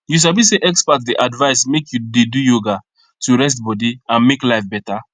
you sabi say experts dey advice make you dey do yoga to rest body and make life better